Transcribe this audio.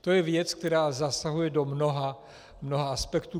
To je věc, která zasahuje do mnoha aspektů.